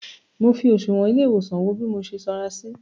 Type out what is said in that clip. Mọ fi òsùwọ́n ilé ìwòsàn wo bí mo ṣe sanra sí.